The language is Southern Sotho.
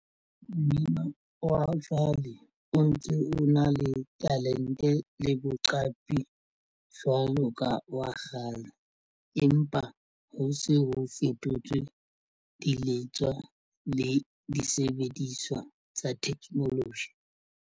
Mmino wa jwale o ntse o na le talente le boqapi jwalo ka wa kgale. Empa ho se ho fetotswe di letswa le disebediswa tsa technology.